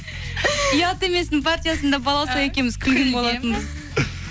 ұят еместің партиясында балауса екеуміз болатынбыз